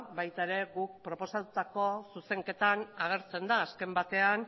baita ere guk proposatutako zuzenketan agertzen da azken batean